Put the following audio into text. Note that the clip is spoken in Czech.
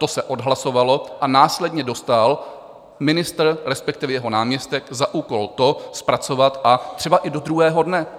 To se odhlasovalo a následně dostal ministr, respektive jeho náměstek, za úkol to zpracovat, a třeba i do druhého dne.